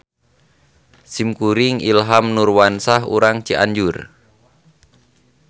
Simkuring Ilham Nurwansah urang Cianjur.